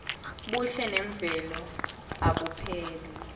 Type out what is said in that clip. buhle memvelo abupheli